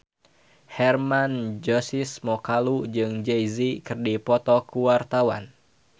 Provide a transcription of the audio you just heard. Hermann Josis Mokalu jeung Jay Z keur dipoto ku wartawan